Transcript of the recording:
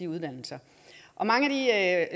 uddannelser og mange af